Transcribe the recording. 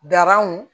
Daranw